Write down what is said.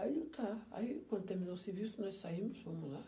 Aí tá, aí quando terminou o serviço, nós saímos, fomos lá.